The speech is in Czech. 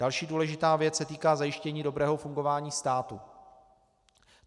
Další důležitá věc se týká zajištění dobrého fungování státu.